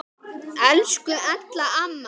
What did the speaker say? Elsku Ella amma.